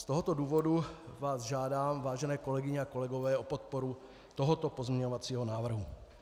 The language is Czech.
Z tohoto důvodu vás žádám, vážené kolegyně a kolegové, o podporu tohoto pozměňovacího návrhu.